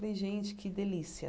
Falei, gente, que delícia!